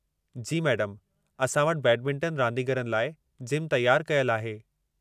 जी मैडमु, असां वटि बैडमिंटन रांदीगरनि लाइ जिमु तयारु कयलु आहे।